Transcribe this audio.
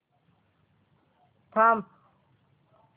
थांब